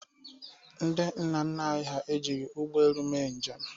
Ndị nna nna anyị hà ejighi ụgbọelu mee njem.